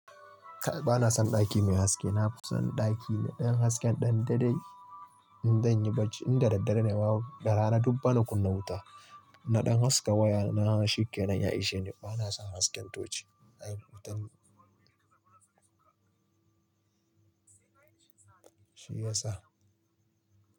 Ba na son ɗaki mai haske. Na fi son ɗaki na ɗan haske ɗan daɗaɗai in zan yi barci. In da daddare ne ma, daga rana duk bana kunna wuta. Na ɗan haska waya na, shikenan. Ya ishe ni. Ba na son hasken toci. Haka ya sa.